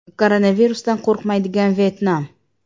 Koronavirusdan qo‘rqmaydigan Vyetnam.